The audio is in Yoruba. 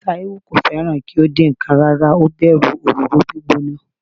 Taiwo kò fẹ́ràn kí ó dín ǹkan rárá, ó bẹ̀rù òróró gbígbóná.